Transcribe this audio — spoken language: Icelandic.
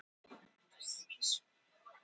Setjumst niður og ræðum málið.